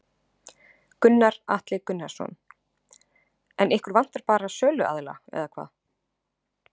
Gunnar Atli Gunnarsson: En ykkur vantar bara söluaðila eða hvað?